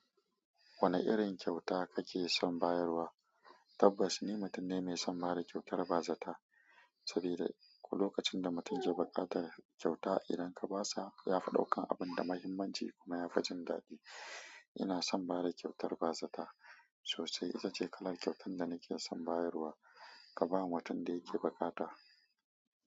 Wane irin kyauta kake son bayarwa? Tabbas ni mutum ne mai son ba da kyautar bazata sabida ko lokacin da mutum ke bukatan kyauta idan ka basa yafi daukan abun da muhimmanci kuma ya fa jingadi. Ina son ba da kyautar bazata sosai. Itace kalar kyautan da nake son bayarwa kaba mutun da yake bukata.